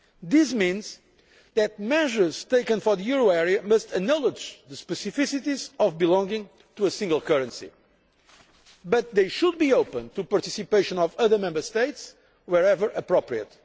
This means that measures taken for the euro area must acknowledge the specificities of belonging to a single currency. They should, however, be open to the participation of other Member States wherever appropriate.